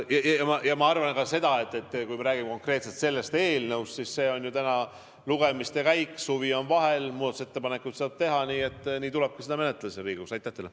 Ma arvan ka seda, et kui me räägime konkreetselt sellest eelnõust, siis see on ju lugemisel, suvi on vahel, muudatusettepanekuid saab teha ja nii tulebki seda siin Riigikogus menetleda.